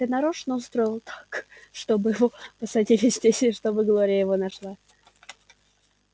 ты нарочно устроил так чтобы его посадили здесь и чтобы глория его нашла